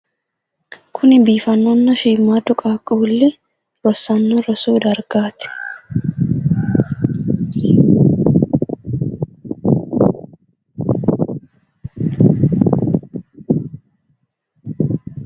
Kuni biifannonna shiimmaaddu qaaqquulli rossanno rosu dargaati.